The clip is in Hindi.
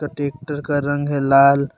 और टेक्टर का रंग है लाल।